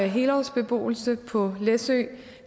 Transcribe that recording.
helårsbeboelse på læsø